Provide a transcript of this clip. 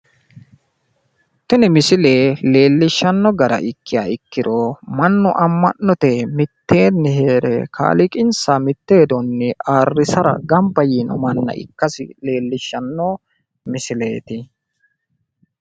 Tini misile leellishanno gara ikkiha ikkiro mannu ammano'te miteenni heere kaaliqanssa mitte hedonni ayirrisara gambba yino manna ikkasi leellishanno misileeti.